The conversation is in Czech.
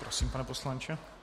Prosím, pane poslanče.